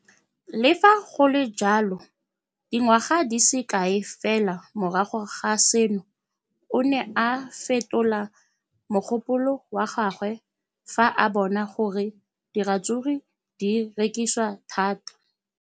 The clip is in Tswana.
Le fa go le jalo, dingwaga di se kae fela morago ga seno, o ne a fetola mogopolo wa gagwe fa a bona gore diratsuru di rekisiwa thata.